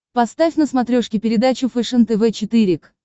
поставь на смотрешке передачу фэшен тв четыре к